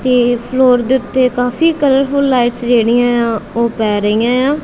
ਤੇ ਫਲੋਰ ਦੇ ਉੱਤੇ ਕਾਫੀ ਕਲਰਫੁੱਲ ਲਾਈਟਸ ਜਿਹੜੀਐਂ ਉ ਉਹ ਪੈ ਰਹੀਆਂ ਏ ਆ।